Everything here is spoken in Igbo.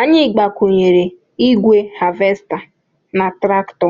Anyị gbakwụnyere igwe havesta na traktọ